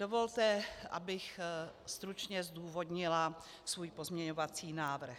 Dovolte, abych stručně zdůvodnila svůj pozměňovací návrh.